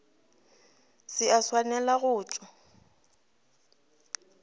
se a swanela go tšwa